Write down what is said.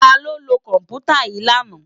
Táló ló kòmpútá yi làná?